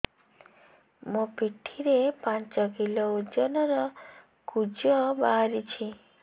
ମୋ ପିଠି ରେ ପାଞ୍ଚ କିଲୋ ଓଜନ ର କୁଜ ବାହାରିଛି